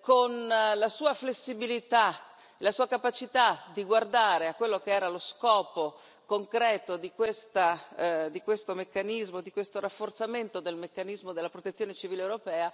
con la sua flessibilità, la sua capacità di guardare a quello che era lo scopo concreto di questo meccanismo, di questo rafforzamento del meccanismo della protezione civile europea,